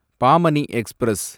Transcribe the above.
Pamani express